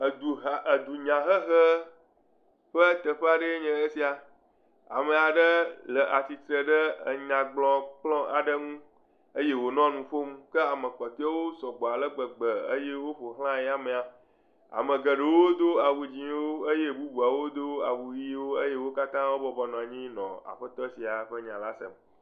Eduha, edunyahehe ƒe teƒea ɖee nye esia, ame aɖe le atsitre ɖe nyagblɔkplɔ aɖe ŋu eye wònɔ nu ƒom kea me kpɔtɔeawo sɔgbɔ ale gbegbe eye woƒo xla ya amea ame geɖewo do awu dzɛ̃wo eye bubuawo do awu ʋiwo eye wo katã wo bɔbɔnɔ anyi le nya la sem.